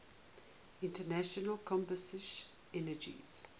internal combustion engines